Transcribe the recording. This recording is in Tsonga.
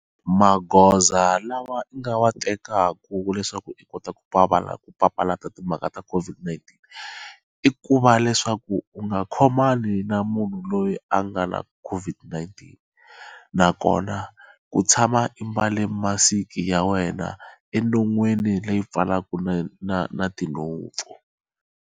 Magoza lawa i nga wa tekaku leswaku i kota ku papalata ku papalata timhaka ta COVID-19 i ku va leswaku u nga khomani na munhu loyi a nga na COVID-19 nakona ku tshama i mbale masiki ya wena enonwini leyi pfalaka na na na tinhompfu.